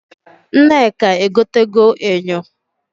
Nneka egotego enyo.